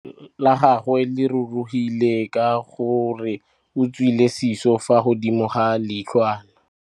Leitlhô la gagwe le rurugile ka gore o tswile sisô fa godimo ga leitlhwana.